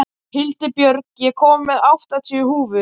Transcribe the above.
Hildibjörg, ég kom með áttatíu húfur!